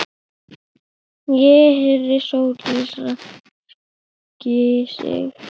Ég heyrði Sóldísi ræskja sig.